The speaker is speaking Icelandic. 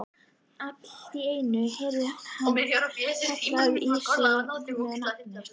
Allt í einu heyrði hann kallað á sig með nafni.